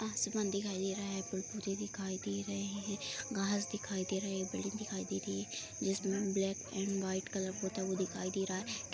आसमान दिखाई दे रहा है पेड़-पौधे दिखाई दे रहे हैं घास दिखाई दे रहे हैं बिल्डिंग दे रही है जिसमें ब्लैक एंड व्हाइट कलर पूता हुआ दिखाई दे रहा है।